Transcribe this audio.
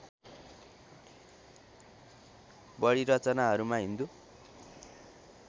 बढी रचनाहरूमा हिन्दू